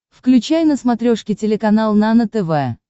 включай на смотрешке телеканал нано тв